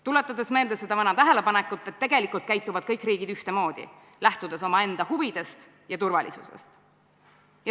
Tuletan meelde seda vana tähelepanekut, et tegelikult käituvad kõik riigid ühtemoodi: lähtudes omaenda huvidest ja turvalisusest.